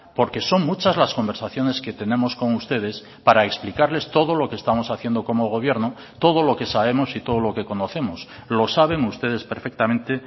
porque son muchas las conversaciones que tenemos con ustedes para explicarles todo lo que estamos haciendo como gobierno todo lo que sabemos y todo lo que conocemos lo saben ustedes perfectamente